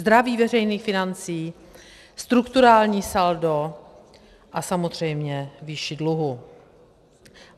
Zdraví veřejných financí, strukturální saldo a samozřejmě výši dluhů.